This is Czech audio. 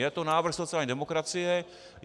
Je to návrh sociální demokracie.